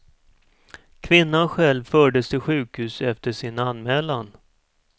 Kvinnan själv fördes till sjukhus efter sin anmälan.